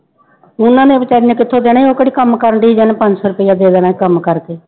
ਪੂਨਾ ਨੇ ਬੇਚਾਰੀ ਨੇ ਕਿੱਥੋਂ ਦੇਣਾ ਸੀ ਉਹ ਕਿਹੜੀ ਕੰਮ ਕਰਦੀ ਸੀ ਵੀ ਉਹਨੇ ਪੰਜ ਸੌ ਰੁਪਇਆ ਦੇ ਦੇਣਾ ਸੀ ਕੰਮ ਕਰਕੇ।